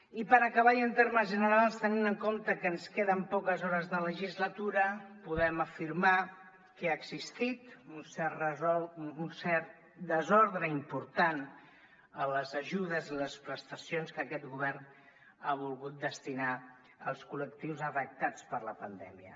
i per acabar i en termes generals tenint en compte que ens queden poques hores de legislatura podem afirmar que ha existit un cert desordre important en les ajudes i les prestacions que aquest govern ha volgut destinar als col·lectius afectats per la pandèmia